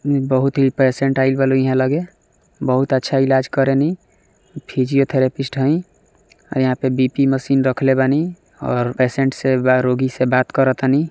बहुत ही पेसेंट आब गैले ईहा लागे बहुत ही अच्छा ईलाज करेनी फिजियोथैरेफिष्ट हेय ई यहां पर बी_पी मशीन रखले बानी और पेशेंट से व रोगी से बात करातनी।